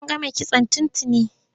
A gama kitson tun tuni.